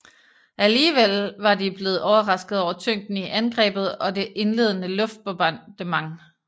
Alligevel var de blevet overrasket over tyngden i angrebet og det indledende luftbombardement